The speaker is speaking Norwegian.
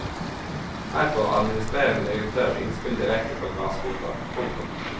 Her får administrerende direktør innspill direkte fra grasrota. punktum